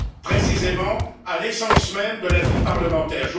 précisément, à l'essence même de la vie parlementaire.